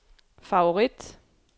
favorit